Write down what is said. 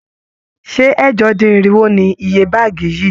Ṣé ẹ̀jọ-dín-irinwo ni iye báàgì yìí?